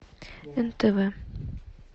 нтв